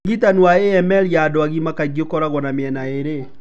ũrigitani wa AML ya andũ agima kaingĩ ũkoragwo na mĩena ĩrĩ.